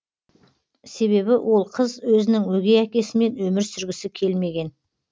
себебі ол қыз өзінің өгей әкесімен өмір сүргісі келмеген